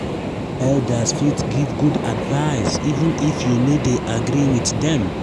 elders fit give good advice even if you no dey agree with dem.